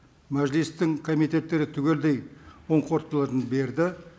мәжілістің комитеттері түгелдей оң қорытындыларын берді